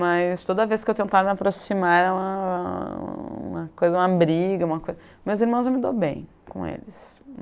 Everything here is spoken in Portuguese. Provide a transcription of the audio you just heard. Mas toda vez que eu tentava me aproximar era uma coisa... uma briga, uma coisa... Meus irmãos, eu me dou bem com eles.